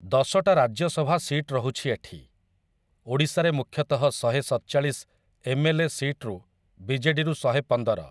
ଦଶଟା ରାଜ୍ୟ ସଭା ସିଟ୍‌ ରହୁଛି ଏଠି । ଓଡ଼ିଶାରେ ମୁଖ୍ୟତଃ ଶହେ ସତଚାଳିଶ ଏମ୍‌.ଏଲ୍‌.ଏ. ସିଟ୍‌ରୁ ବିଜେଡ଼ିରୁ ଶହେ ପନ୍ଦର ।